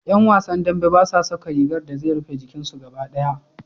Ƴan wasan dambe basa saka rigar da zai rufe jikin su gaba ɗaya.